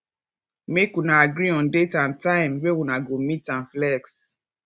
make una agree on date and time wey una go meet and flex